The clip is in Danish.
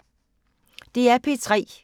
DR P3